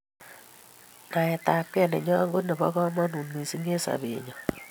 naet ab kee nenyon ko nebo kamangut missing eng sabet nenyo